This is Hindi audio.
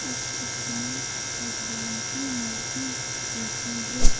इस चित्र में भगवान की मूर्ति रखी है।